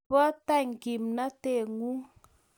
Ribota kimnateng'ung'